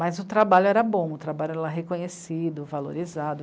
Mas o trabalho era bom, o trabalho era reconhecido, valorizado.